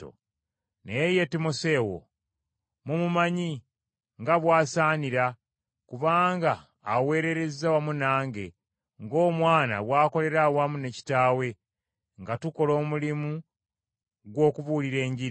Naye ye Timoseewo mumumanyi nga bw’asaanira, kubanga aweerereza wamu nange, ng’omwana bw’akolera awamu ne kitaawe nga tukola omulimu gw’okubuulira Enjiri.